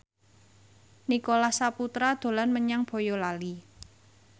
Nicholas Saputra dolan menyang Boyolali